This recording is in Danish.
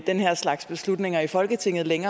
den her slags beslutninger i folketingssalen